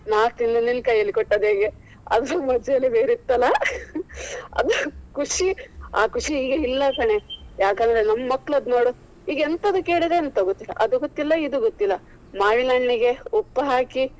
ನಾ ತಿಂದು ನಿನ್ನ ಕೈಯಲ್ಲಿ ಕೊಟ್ಟದ್ದು ಹೇಗೆ ಅದು ಮಜಾನೇ ಬೇರೆ ಇತ್ತು ಅಲ್ಲ ಅದು ಖುಷಿ. ಆ ಖುಷಿ ಈಗ ಇಲ್ಲ ಕಣೆ ಯಾಕಂದ್ರೆ ನಮ್ಮ ಮಕ್ಕಳದ್ದು ನೋಡು. ಈಗ ಎಂತದು ಕೇಳಿದ್ರೆ ಎಂತದು ಗೊತ್ತಿಲ್ಲ ಇದು ಗೊತ್ತಿಲ್ಲ. ಮಾವಿನ ಹಣ್ಣಿಗೆ ಉಪ್ಪು ಹಾಕಿ.